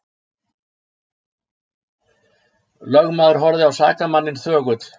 Lögmaður horfði á sakamanninn þögull.